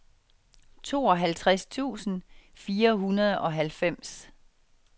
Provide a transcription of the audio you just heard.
tooghalvtreds tusind fire hundrede og halvfems